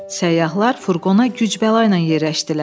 Səyyahlar furqona güc-bəla ilə yerləşdilər.